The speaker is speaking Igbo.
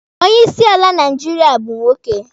Onye isi ala Naijiria bụ nwoke.